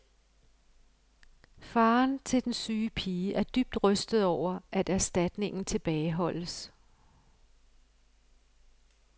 Faren til den syge pige er dybt rystet over, at erstatningen tilbageholdes.